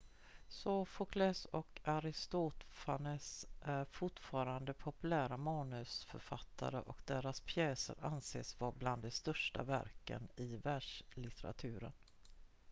sofokles och aristofanes är fortfarande populära manusförfattare och deras pjäser anses vara bland de största verken i världslitteraturen